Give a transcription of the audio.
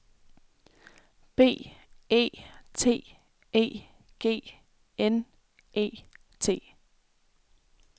B E T E G N E T